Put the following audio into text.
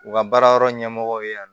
U ka baara yɔrɔ ɲɛmɔgɔ ye yan